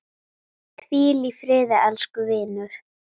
Hvíl í friði elsku vinur.